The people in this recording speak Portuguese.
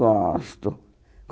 Gosto.